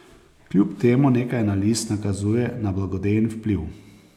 Kljub temu nekaj analiz nakazuje na blagodejen vpliv.